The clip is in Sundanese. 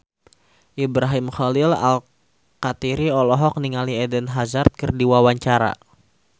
Ibrahim Khalil Alkatiri olohok ningali Eden Hazard keur diwawancara